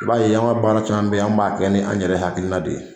I b'a ye anw ka baara caman bɛ an b'a kɛ ni an yɛrɛ hakilina de ye